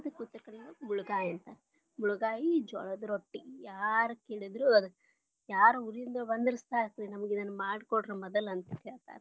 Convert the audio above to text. Uattara Karnataka ಕೊಳಗ ಮುಳಗಾಯಿ ಅಂತಾರ. ಮುಳಗಾಯಿ ಜೋಳದ ರೊಟ್ಟಿ ಯಾರ ಕೇಳಿದ್ರು ಯಾರ ಊರಿಂದ ಬಂದ್ರ ಸಾಕ ನಮಗ ಇದನ್ನ ಮಾಡಿ ಕೊಡ್ರಿ ಮದ್ಲಾ ಅಂತ ಹೇಳ್ತಾರ.